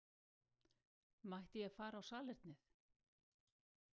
Mætti ég fara á salernið?